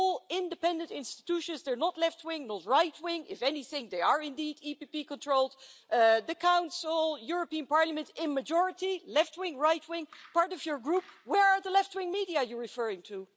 They're all independent institutions they're not left wing or right wing if anything, they are indeed EPP controlled the Council, the European Parliament, in the majority left wing, right wing, part of your Group where are the left wing media you're referring to?